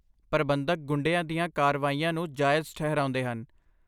ਪ੍ਰਬੰਧਕ ਗੁੰਡਿਆਂ ਦੀਆਂ ਕਾਰਵਾਈਆਂ ਨੂੰ ਜਾਇਜ਼ ਠਹਿਰਾਉਂਦੇ ਹਨ।